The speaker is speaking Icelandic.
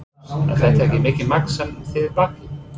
Magnús: Er þetta mikið magn sem þið bakið?